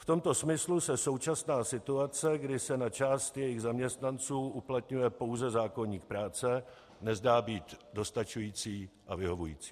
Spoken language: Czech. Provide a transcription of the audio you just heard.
V tomto smyslu se současná situace, kdy se na část jejich zaměstnanců uplatňuje pouze zákoník práce, nezdá být dostačující a vyhovující.